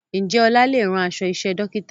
Ǹjẹ́ ọlá lè rán aṣọ iṣẹ́ Dókítà?